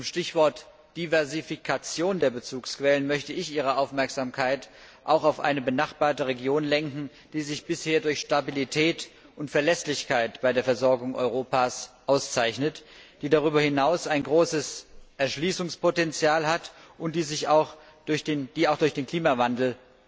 Zum Stichwort Diversifikation der Bezugsquellen möchte ich Ihre Aufmerksamkeit auch auf eine benachbarte Region lenken, die sich bisher durch Stabilität und Verlässlichkeit bei der Versorgung Europas auszeichnet, die darüber hinaus ein großes Erschließungspotenzial hat, und die auch durch den Klimawandel